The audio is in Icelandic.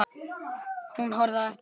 Hún horfði á eftir honum.